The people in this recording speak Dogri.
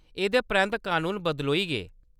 एह्‌‌‌दे परैंत्त कनून बदलोई गे।